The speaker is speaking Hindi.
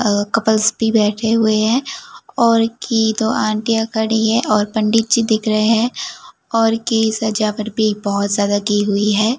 अह कपल्स भी बैठे हुए हैं और की दो आंटिया खड़ी है और पंडित जी दिख रहे हैं और की सजावट भी बहुत ज्यादा की हुई है।